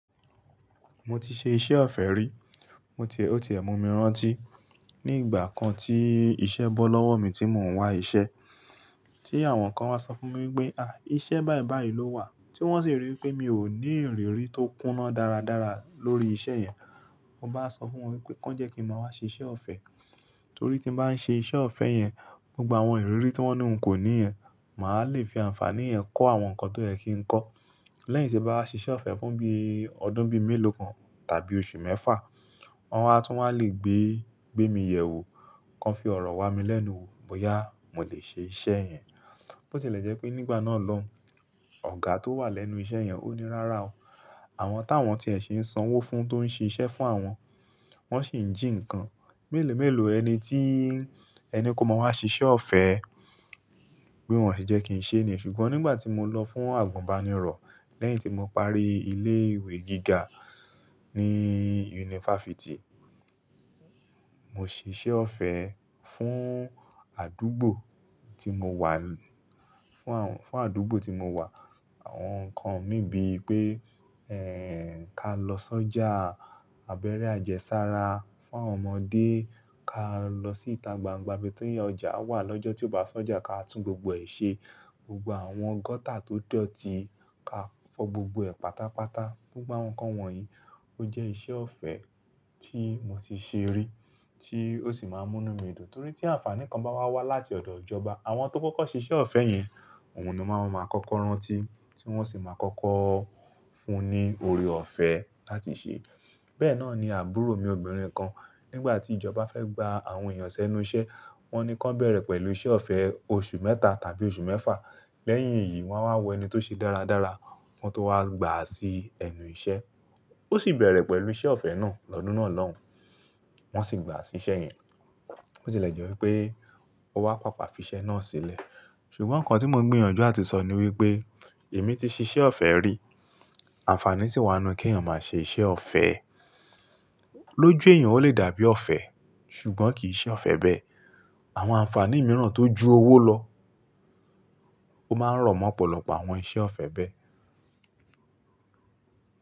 Mo ti ṣe iṣẹ́ ọ̀fẹ́ rí, ó ti ẹ̀ mu mi rántí. Ni ìgbà kan tí iṣẹ́ bọ́ lọ́wọ́ mi tí mò ń wá iṣẹ́, tí àwọn kan wá sọ fún mi pé, "à, iṣẹ́ báyi báyi ló wà." Tí wọ́n sì rí pé mi ò ní ìrírí tó kúná dára dára lórí iṣẹ́ yẹn, mo bá sọ fún wọn pé kí wọ́n jẹ́ kí mo wá ṣe iṣẹ́ ọ̀fẹ́. Torí tí mo bá ń ṣe iṣẹ́ ọ̀fẹ́ yẹn, gbogbo àwọn ìrírí tí wọ́n ní n kò ní ẹ, màá le fi àǹfàní ẹ kó àwọn nǹkan tó yẹ kí n kọ́. Lẹ́yìn tí ẹ bá ṣe iṣẹ́ ọ̀fẹ́ fún bí ọdún bí mélòó kan tàbí oṣù mẹ́fà, wọn a tún máa le gbé, gbé mi yẹ̀ wò, kí wọn fi ọ̀rọ̀ wà mí lẹ́nu wò bóyá mò lè ṣe iṣẹ́ yẹn. Bó tilẹ̀ jẹ́ pé nígbà náà lọun Ọ̀gá tó wà lẹ́nu iṣẹ́ yẹn ó ní rárá o. Àwọn táwọn tí ẹ ṣe ń sanwó fún tó ń ṣe iṣẹ́ fún àwọn, wọ́n sì ń jí nǹkan. Mélòó mélòó ẹni tí ẹni kó mọ wá ṣe iṣẹ́ ọ̀fẹ́, bí wọ́n ṣe jẹ́ kí n ṣe ni. Ṣùgbọ́n nígbà tí mo lọ fún àgùnbánirọ̀ lẹ́yìn tí mo parí ilé ìwé gíga ní yunifásítì, mo ṣe iṣẹ́ ọ̀fẹ́ fún àdúgbò tí mo wà, fún àwọn, fún àdúgbò tí mo wà. Àwọn nǹkan mi bíi pé, ẹ́, ká lọ sọ́jà abẹ́rẹ́ àjẹ́sára fún àwọn ọmọdé, ká lọ sí ìta gbangba ibi tí ọjà wà lọ́jọ́ tí ó bá sọ́jà ká tún gbogbo ẹ̀ ṣe. Gbogbo àwọn gọ́tà tó dọ̀tí ká fọ́ gbogbo ẹ̀ pátápátá. Gbogbo àwọn nǹkan wọ̀nyí ó jẹ́ iṣẹ́ ọ̀fẹ́ tí mo ti ṣe rí tí ó sì máa ń múni mí dùn. Torí tí àǹfàní kan bá wá wá láti ọ̀dọ̀ ìjọba, àwọn tó kọ́kọ́ ṣe iṣẹ́ ọ̀fẹ́ yẹn, oun ni wọn máa n kọ́kọ́ rántí tí wọ́n sì máa kọ́kọ́ fún ní orí ọ̀fẹ́ láti ṣe. Bẹ́ẹ̀ náà ni àbúrò mi obìnrin kan nígbà tí ìjọba fẹ́ gba àwọn èèyàn sẹ́nu iṣẹ́, wọ́n ni kí ó bẹ̀rẹ̀ pẹ̀lú iṣẹ́ ọ̀fẹ́ oṣù mẹ́ta tàbí oṣù mẹ́fà. Lẹ́yìn èyí wọn a wọ ẹni tó ṣe dára dára wọn tó wá gbà sí ẹnu iṣẹ́. Ó sì bẹ̀rẹ̀ pẹ̀lú iṣẹ́ ọ̀fẹ́ náà lọ́dún náà lọ́hùn, wọ́n sì gbà á sí iṣẹ́ yẹn. Bó tilẹ̀ jẹ́ wípé ó wá pàpà fi iṣẹ́ náà sílẹ̀. Ṣùgbọ́n nǹkan tí mo ń gbìyànjú àti sọ ni wípé èmi ti ṣe iṣẹ́ ọ̀fẹ́ rí, àǹfàní sì wá nu kí èèyàn máa ṣe iṣẹ́ ọ̀fẹ́. Lójú èèyàn ó lè dàbí ọ̀fẹ́, ṣùgbọ́n kì í ṣe ọ̀fẹ́ bẹ́ẹ̀. Àwọn àǹfàní mìíràn tó ju owó lọ ó máa ń rọ̀ mọ́ ọ̀pọ̀lọpọ̀ àwọn iṣẹ́ ọ̀fẹ́ bẹ́ẹ̀.